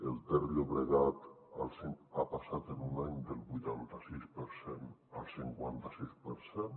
el ter·llobregat ha passat en un any del vuitanta·sis per cent al cinquanta·sis per cent